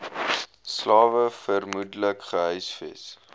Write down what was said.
slawe vermoedelik gehuisves